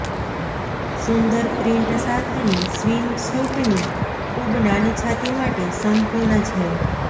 સુંદર print સાથેની સ્વીમસ્યુટની ખૂબ નાની છાતી માટે સંપૂર્ણ છે